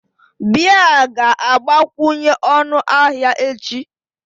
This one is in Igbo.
Beer ga-agbakwunye ọnụ ahịa echi